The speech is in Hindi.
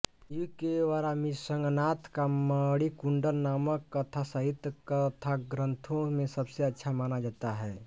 युग के वरामिसंघनाथ का मणिकुंडल नामक कथासाहित्य कथाग्रंथों में सबसे अच्छा माना जाता है